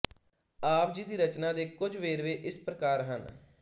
ਆਪ ਜੀ ਦੀ ਰਚਨਾ ਦੇ ਕੁਝ ਵੇਰਵੇ ਇਸ ਪ੍ਰਕਾਰ ਹਨ